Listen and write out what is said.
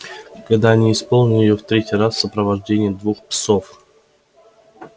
когда они исполнили её в третий раз в сопровождении двух псов появился визгун и дал понять что хочет сообщить нечто важное